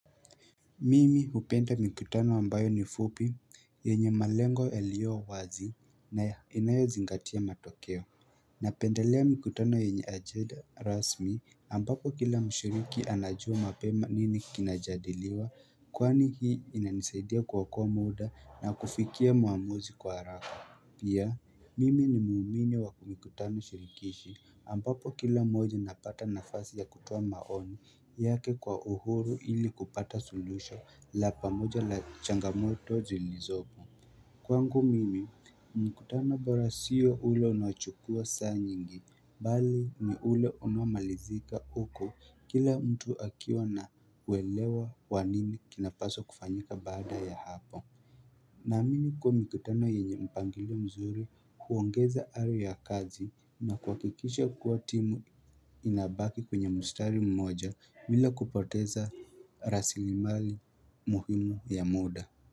Mimi hupenda mikutano ambayo ni fupi, yenye malengo yalio wazi, na inayo zingatia matokeo Napendelea mikutano yenye ajeda rasmi ambapo kila mshiriki anajua mapema nini kinajadiliwa, kwani hii inanisaidia kuoakoa muda na kufikia muamuzi kwa haraka Pia, mimi ni muumini wa ku mikutano shirikishi ambapo kila moja napata nafasi ya kutuoa maoni yake kwa uhuru ili kupata solution la pamoja la changamoto zilizobu Kwangu mimi, mkutano bora sio ule unachukua saa nyingi, bali ni ule unamalizika uko kila mtu akiwa na kuelewa kwa nini kinapaswa kufanyika baada ya hapo na amini kuwa mikutano yenye mpangilio mzuri kuongeza ario ya kazi na kuhakikisha kuwa timu inabaki kwenye mstari mmoja bila kupoteza rasili mali muhimu ya muda.